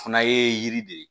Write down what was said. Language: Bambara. Fana ye yiri de ye